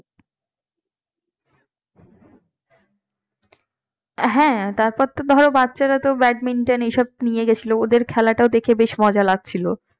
হ্যাঁ তারপর তো ধর বাচ্চারা তো badminton এসব নিয়ে গেছিল ওদের খেলাটা দেখে বেশ মজা লাগছিল